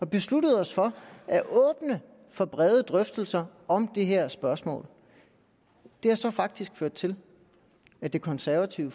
besluttet os for at åbne for brede drøftelser om det her spørgsmål det har så faktisk ført til at det konservative